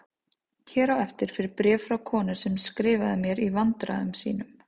Hér á eftir fer bréf frá konu sem skrifaði mér í vandræðum sínum